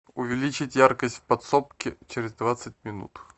увеличить яркость в подсобке через двадцать минут